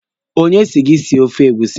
Onye si gị sie ofe egusi?